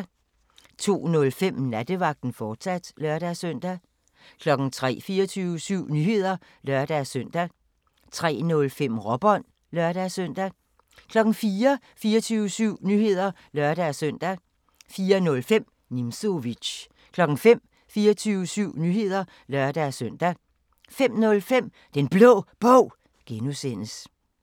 02:05: Nattevagten, fortsat (lør-søn) 03:00: 24syv Nyheder (lør-søn) 03:05: Råbånd (lør-søn) 04:00: 24syv Nyheder (lør-søn) 04:05: Nimzowitsch 05:00: 24syv Nyheder (lør-søn) 05:05: Den Blå Bog (G)